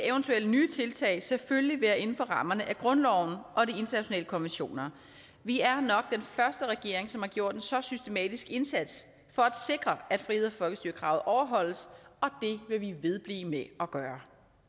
eventuelle nye tiltag selvfølgelig skal være inden for rammerne af grundloven og de internationale konventioner vi er nok den første regering som har gjort en så systematisk indsats for at sikre at friheds og folkestyrekravet overholdes og det vil vi vedblive med at gøre